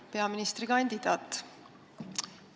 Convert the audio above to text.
Hea peaministrikandidaat!